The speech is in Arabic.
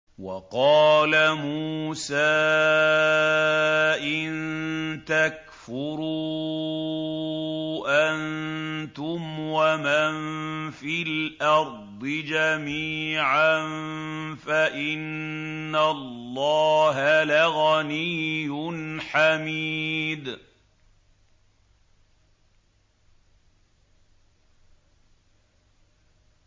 وَقَالَ مُوسَىٰ إِن تَكْفُرُوا أَنتُمْ وَمَن فِي الْأَرْضِ جَمِيعًا فَإِنَّ اللَّهَ لَغَنِيٌّ حَمِيدٌ